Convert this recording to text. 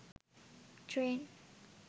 train